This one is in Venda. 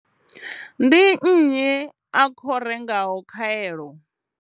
Ndi nnyi a khou rengaho khaelo?